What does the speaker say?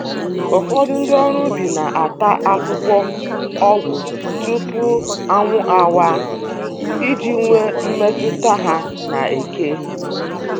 Ụfọdụ ndị ọrụ ubi na-ata akwụkwọ ọgwụ tupu anwụ awaa, iji nwee mmetụta ha na eke